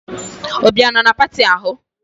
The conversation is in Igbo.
Obi ọ nọ na pati ahụ?